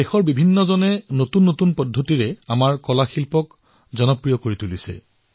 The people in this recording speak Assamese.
সমগ্ৰ দেশ লোকে নতুন নতুন পদ্ধতিৰে আমাৰ কলাসমূহক লোকপ্ৰিয় কৰি তুলিছে